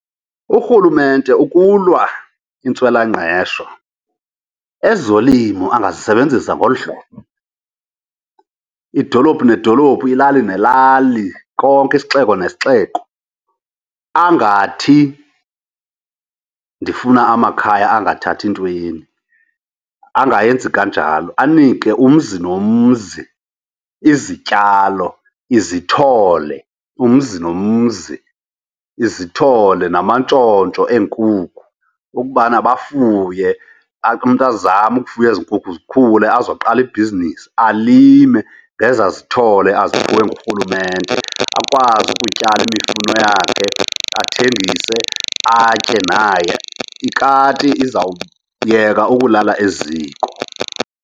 Urhulumente ukulwa intswelangqesho ezolimo angazisebenzisa ngolu hlobo, idolophu nedolophu, ilali nelali konke, isixeko nesixeko, angathi ndifuna amakhaya angathathi ntweni. Angayenzi kanjalo. Anike umzi nomzi izityalo, izithole. Umzi nomzi, izithole namantshontsho eenkukhu ukubana bafuye, umntu azame ukufuya ezi nkukhu zikhule azoqala ibhizinesi. Alime ngezaa zithole aziphiwe ngurhulumente akwazi ukutyala imifuno yakhe athengise, atye naye. Ikati izawuyeka ukulala eziko.